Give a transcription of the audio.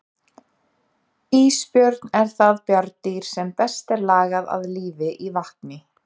Ísbjörn er það bjarndýr sem best er lagað að lífi í vatni.